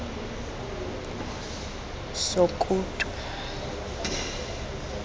sokutu